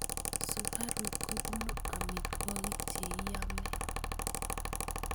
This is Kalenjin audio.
Sukaruk kobunu amitwokik cheiamei.